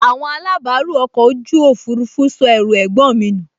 Àwọn alábàárù ọkọ̀ ojú òfurufú sọ ẹrù ẹ̀gbọ́n mi nù